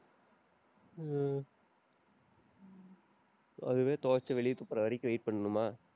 உம் அதுவே துவைச்சு, வெளிய துப்புற வரைக்கும் wait பண்ணனுமா?